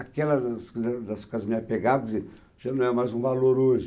Aquelas coisas das quais me apegavam, que dizer, já não é mais um valor hoje.